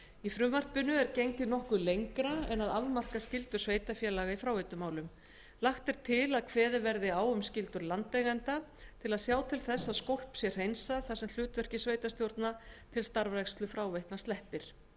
í frumvarpinu er gengið nokkuð lengra en að afmarka skyldur sveitarfélaga í fráveitumálum lagt er til að kveðið verði á um skyldur landeigenda til að sjá til þess að skólp sé hreinsað þar sem hlutverki sveitarstjórna til starfrækslu fráveitna sleppir